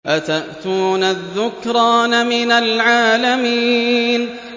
أَتَأْتُونَ الذُّكْرَانَ مِنَ الْعَالَمِينَ